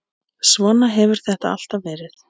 Svona hefur þetta alltaf verið.